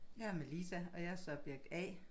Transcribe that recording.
Jeg er Melisa og jeg er subjekt A